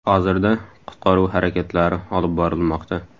Hozirda qutqaruv harakatlari olib borilmoqda.